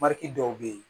Maritw bɛ yen